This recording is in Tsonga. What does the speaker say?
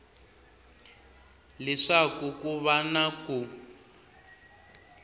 leswaku ku va na ku